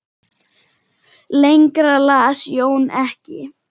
Lengra las Jón ekki.